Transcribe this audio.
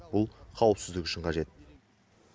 бұл қауіпсіздік үшін қажет